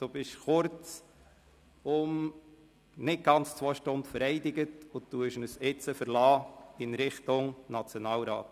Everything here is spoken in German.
Sie sind kurzum nicht ganz zwei Stunden vereidigt und verlassen uns schon wieder in Richtung Nationalrat.